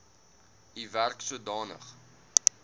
u werk sodanig